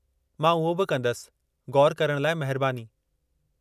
मां उहो बि कंदसि, ग़ौरु करण लाइ महिरबानी।